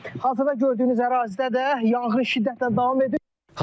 Hazırda gördüyünüz ərazidə də yanğın şiddətlə davam edir.